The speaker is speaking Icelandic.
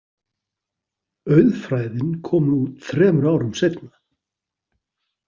Auðfræðin komu út þremur árum seinna.